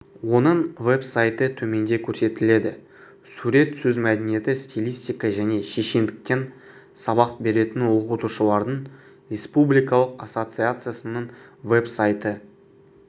оның веб-сайты төменде көресетіледі сурет сөз мәдениеті стилистика және шешендіктен сабақ беретін оқытушылардың республикалық ассоциациясының веб-сайты